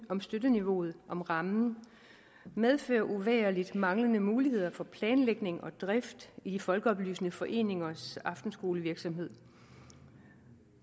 om støtteniveauet om rammen medfører uvægerligt manglende muligheder for planlægning og drift i de folkeoplysende foreningers aftenskolevirksomhed